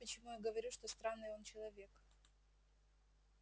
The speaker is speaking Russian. вот почему я говорю что странный он человек